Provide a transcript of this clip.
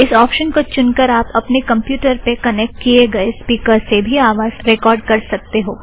इस ऑप्शन को चुनकर आप अपने कमप्युटर पर कनेक्ट किए गए स्पीकरस से भी आवाज़ रेकॉर्ड़ कर सकते हो